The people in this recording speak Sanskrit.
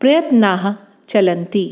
प्रयत्नाः चलन्ति